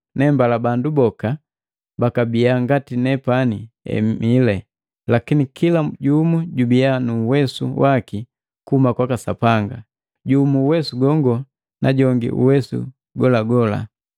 Nembala bandu boka bakabiya ngati nepani emile, lakini kila jumu jubii nuwesu waki kuhuma kwaka Sapanga, jumu uwesu gongo na jongi golagola.